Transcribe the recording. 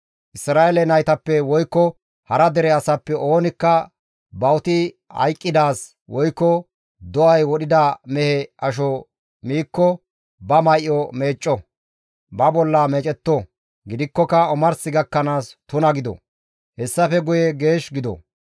«Isra7eele naytappe woykko hara dere asappe oonikka bawuti hayqqidaaz woykko do7ay wodhida mehe asho miikko ba may7o meecco; ba bolla meecetto; gidikkoka omars gakkanaas tuna gido; hessafe guye geesh gido.